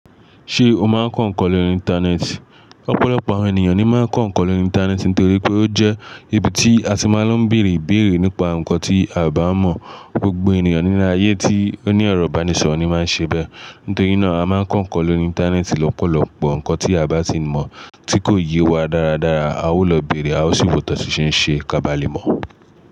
Ṣé o máa ń kọ ǹkan lórí Íńtánẹ́ẹ̀tì? Ọ̀pọ̀lọpọ̀ àwọn ènìyàn ni máa ń kọ ǹkan lórí Íńtánẹ́ẹ̀tì nítorí pé ó jẹ́ ibi tí a ti máa ń lọ bèrè bèrè nípa ǹkan tí a bá mọ̀. Gbogbo ènìyàn ní ile ayé tí ó ní ẹ̀rọ ìbánisọ̀rọ̀ ni máa ń ṣe bẹ́. Nítorí náà, a máa ń kọ ǹkan lórí Íńtánẹ́ẹ̀tì. Ọ̀pọ̀lọpọ̀ ǹkan tí a o bá ti mọ̀ tí kò yé wa dáradára, a ó lọ bèrè, a ó sì wọ́ ti won ṣen ṣe ká bá lè mọ̀